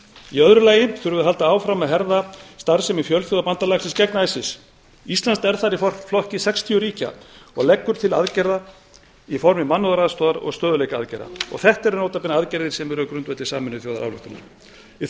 í öðru lagi þurfum við að halda áfram að herða starfsemi fjölþjóðabandalagsins gegn isis ísland er þar í flokki sextíu ríkja og leggur til aðgerða í formi mannúðaraðstoðar og stöðugleikaaðgerða þetta eru nota bene aðgerðir sem eru á grundvelli sameinuðuþjóðarályktunar í